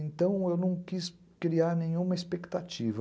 Então, eu não quis criar nenhuma expectativa.